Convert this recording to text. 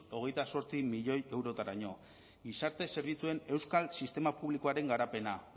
hogeita zortzi milioi eurotaraino gizarte zerbitzuen euskal sistema publikoaren garapena